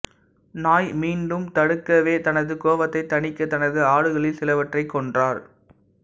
நாய் மீண்டும் தடுக்கவே தனது கோவத்தை தனிக்க தனது ஆடுகளில் சிலவற்றை கொன்றார்